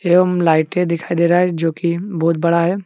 एवं लाइटे दिखाई दे रहा है जो की बहुत बड़ा है।